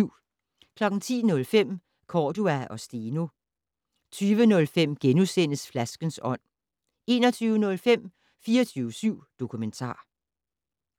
10:05: Cordua og Steno 20:05: Flaskens ånd * 21:05: 24syv Dokumentar